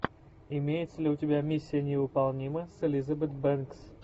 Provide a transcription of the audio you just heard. имеется ли у тебя миссия невыполнима с элизабет бэнкс